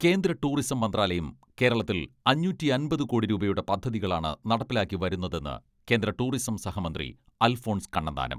കേന്ദ്ര ടൂറിസം മന്ത്രാലയം കേരളത്തിൽ അഞ്ഞൂറ്റിയമ്പത് കോടി രൂപയുടെ പദ്ധതികളാണ് നടപ്പിലാക്കി വരുന്നതെന്ന് കേന്ദ്ര ടൂറിസം സഹമന്ത്രി അൽഫോൺസ് കണ്ണന്താനം.